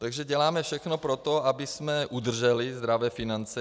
Takže děláme všechno pro to, abychom udrželi zdravé finance.